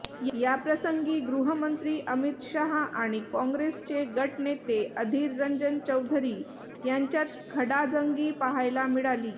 याप्रसंगी गृहमंत्री अमित शहा आणि काँग्रेसचे गटनेते अधीर रंजन चौधरी यांच्यात खडाजंगी पाहायला मिळाली